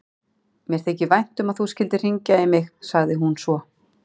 Mér þykir vænt um að þú skyldir hringja í mig, sagði hún svo.